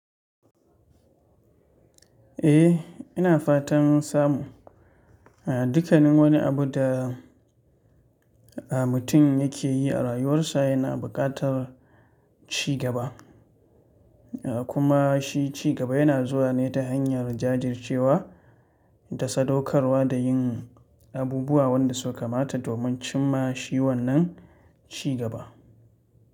Eh, ina fatan samu. Dukkanin wani abu da mutum yake yi a rayuwarsa yana buƙatar ci gaba. Kuma shi ci gaba yana zuwa ne ta hanyar jajircewa da sadaukarwa da yin abubu wanda suka kamata domin cimma shi wannan ci gaba.